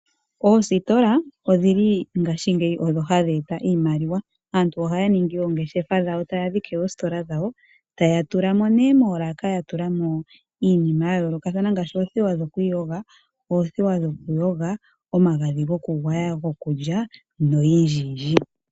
Oositola odhili ngashigeyi odho hadhi eta iimaliwa. Aantu ohaya ningi ongeshefa dhawo, taya dhike oositola dhawo. Taya tulamo nee moolaaka yatu lamo iinima yayolokathana ngaashi oothewa dhokwiiyoga, othewa dhoku yoga, omagadhi gokugwaya, gokulya noyindji yindji.